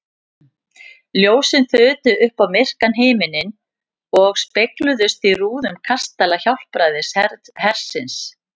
Ljósin þutu upp á myrkan himininn og spegluðust í rúðum kastala Hjálpræðishersins.